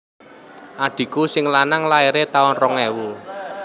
Adhiku sing lanang laire tahun rong ewu